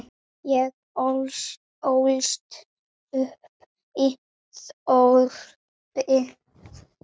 Ég ólst upp í þorpi.